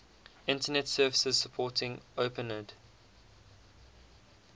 internet services supporting openid